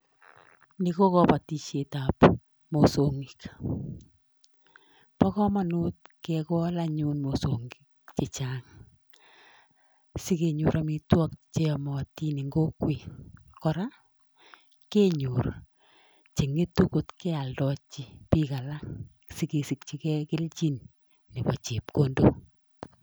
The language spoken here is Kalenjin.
Ni ko kabatisietab mosongik, bo kamanut kekol anyun mosongik che chang, si kenyor amitwog che yomotin eng kokwet, kora kenyor che ngetu kot kealdochi piik alak si kesikchikei kelchin nebo chepkondok.